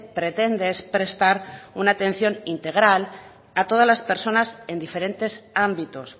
pretende es prestar una atención integral a todas las personas en diferentes ámbitos